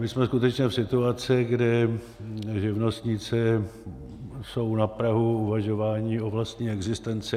My jsme skutečně v situaci, kdy živnostníci jsou na prahu uvažování o vlastní existenci.